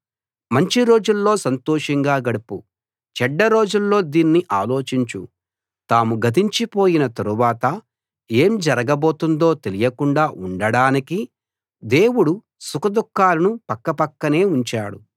మంచి రోజుల్లో సంతోషంగా గడుపు చెడ్డ రోజుల్లో దీన్ని ఆలోచించు తాము గతించి పోయిన తరువాత ఏం జరగబోతుందో తెలియకుండా ఉండడానికి దేవుడు సుఖదుఃఖాలను పక్కపక్కనే ఉంచాడు